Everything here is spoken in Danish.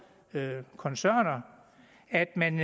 koncerner og at man